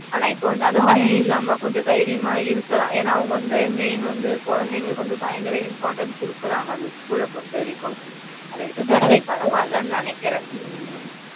ஆனா இப்ப அந்த பயம் இல்லாம கொஞ்சம் தைரியாம இருக்கலாம் ஏனா அவங்க வந்து main வந்து குழந்தைகளுக்கு வந்து பயங்கர important குடுக்குறாங்கா அந்த school ல பொறுத்த வரைக்கும் அதுவரைக்கும் நா பரவாயில்ல நினைக்குற